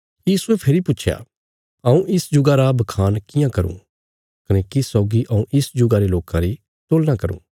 यीशुये फेरी पुच्छया हऊँ इस जुगा रा बखान कियां करूँ कने किस सौगी हऊँ इस जुगा रे लोकां री तुलना करूँ